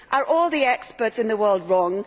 Are all the experts in the world wrong?